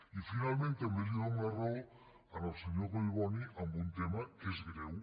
i finalment també li dono la raó al senyor collboni en un tema que és greu